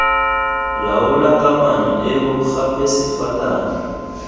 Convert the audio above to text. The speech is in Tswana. laola kamano eo gape sefalana